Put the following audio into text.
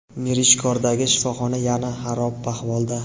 Mirishkordagi shifoxona yana xarob ahvolda.